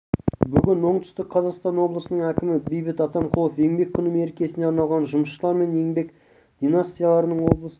бүгін оңтүстік қазақстан облысының әкімі бейбіт атамқұлов еңбек күні мерекесіне арналған жұмысшылар мен еңбек династияларының облыстық